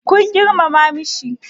kun girmama shi?